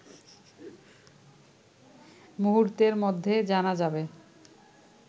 মুহূর্তের মধ্যে জানা যাবে